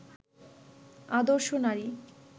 আদর্শ নারী